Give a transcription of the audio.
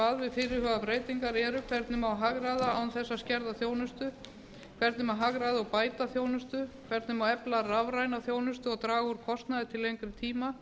fyrirhugaðar breytingar eru hvernig má hagræða án þess að skerða þjónustu hvernig má hagræða og bæta þjónustu hvernig má efla rafræna þjónustu og draga úr kostnaði til lengri tíma